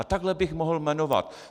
A takhle bych mohl jmenovat.